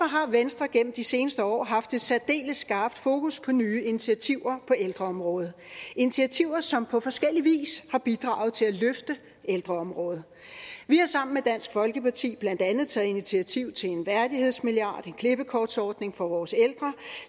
har venstre gennem de seneste år haft et særdeles skarpt fokus på nye initiativer på ældreområdet initiativer som på forskellig vis har bidraget til at løfte ældreområdet vi har sammen med dansk folkeparti blandt andet taget initiativ til en værdighedsmilliard en klippekortsordning for vores ældre